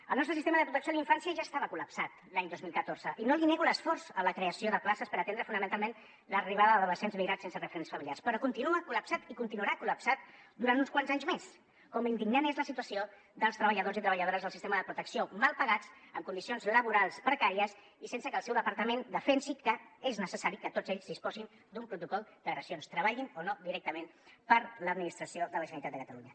el nostre sistema de protecció a la infància ja estava col·lapsat l’any dos mil catorze i no li nego l’esforç en la creació de places per atendre fonamentalment l’arribada d’adolescents migrats sense referents familiars però continua col·lapsat i continuarà collapsat durant uns quants anys més com indignant és la situació dels treballadors i treballadores del sistema de protecció mal pagats amb condicions laborals precàries i sense que el seu departament defensi que és necessari que tots ells disposin d’un protocol d’agressions treballin o no directament per l’administració de la generalitat de catalunya